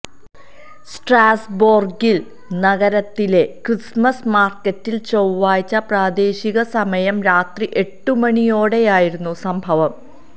സ്ട്രാസ്ബോര്ഗില് നഗരത്തിലെ ക്രിസ്മസ് മാര്ക്കറ്റില് ചൊവ്വാഴ്ച പ്രാദേശികസമയം രാത്രി എട്ടുമണിയോടെയായിരുന്നു സംഭവം